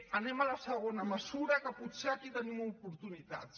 anem a la segona mesura que potser aquí tenim oportunitats